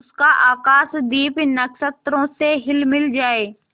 उसका आकाशदीप नक्षत्रों से हिलमिल जाए